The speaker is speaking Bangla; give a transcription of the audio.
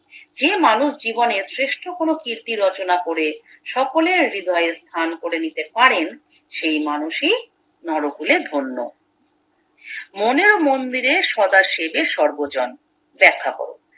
যে মানুষ জীবনের শ্রেষ্ঠ কোনো কীর্তি রচনা করে সকলের হৃদয়ে স্থান করে নিতে পারেন সেই মানুষই নরকুলে ধন্য মনের মন্দিরে সদা সেবে সর্বজন ব্যাখ্যা করো